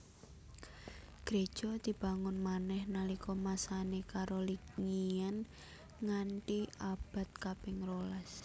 Gréja dibangun manèh nalika masané Carolingian nganti abad kaping rolas